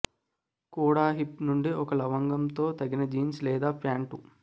కూడా హిప్ నుండి ఒక లవంగం తో తగిన జీన్స్ లేదా ప్యాంటు